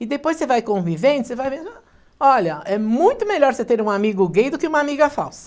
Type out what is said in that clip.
E depois você vai convivendo, você vai vendo, olha, é muito melhor você ter um amigo gay do que uma amiga falsa.